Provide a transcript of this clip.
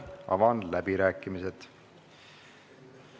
Avan läbirääkimised.